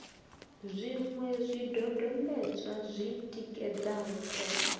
zwiṅwe zwidodombedzwa zwi tikedzaho ṱhoho